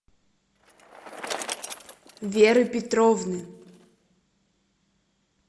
веры петровны